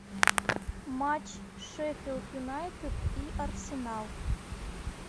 матч шеффилд юнайтед и арсенал